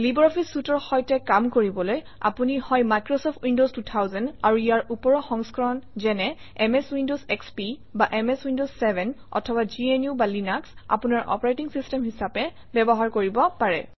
LibreOffice suite ৰ সৈতে কাম কৰিবলৈ আপুনি হয় মাইক্ৰচফ্ট উইণ্ডৱছ 2000 আৰু ইয়াৰ ওপৰৰ সংস্কৰণ যেনে এমএছ উইণ্ডৱছ এসপি বা এমএছ উইণ্ডৱছ 7 অথবা gnuলিনাস আপোনাৰ অপাৰেটিং চিষ্টেম হিচাপে ব্যৱহাৰ কৰিব পাৰে